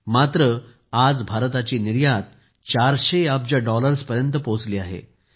मात्र आज भारताची निर्यात 400 अब्ज डॉलर्सपर्यंत पोहोचली आहे